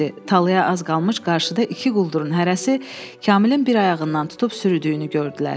Talaya az qalmış qarşıda iki quldurun hərəsi Kamilin bir ayağından tutub sürüdüyünü gördülər.